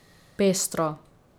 Pestro.